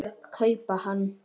kaupa hann.